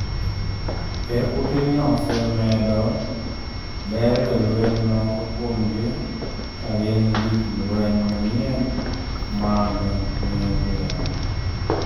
Ker Putin osemedo ber jolweny moko kuomgi ka gin gik lweny manyien mag nuclear